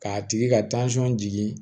K'a tigi ka jigin